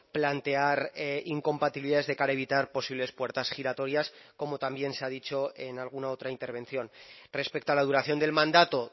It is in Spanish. plantear incompatibilidades de cara a evitar posibles puertas giratorias como también se ha dicho en alguna otra intervención respecto a la duración del mandato